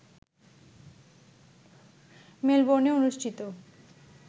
মেলবোর্নে অনুষ্ঠিত